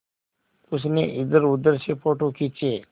उसने इधरउधर से फ़ोटो खींचे